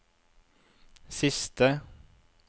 siste